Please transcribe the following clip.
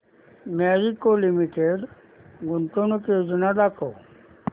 Marico limited गुंतवणूक योजना दाखव